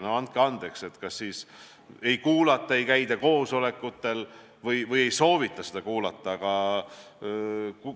No andke andeks, kas siis ei kuulata, ei käida koosolekutel või ei soovita kuulata?